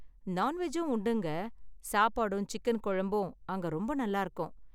நான்வெஜும் உண்டுங்க, சாப்பாடும் சிக்கன் குழம்பும் அங்கே ரொம்ப நல்லா இருக்கும்.